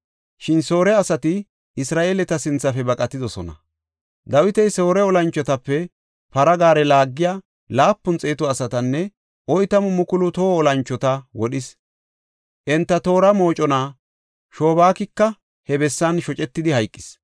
Shin Soore asati Isra7eeleta sinthafe baqatidosona. Dawiti Soore olanchotape para gaare laagiya laapun xeetu asatanne oytamu mukulu toho olanchota wodhis. Enta toora mocona Sobaakika he bessan shocetidi hayqis.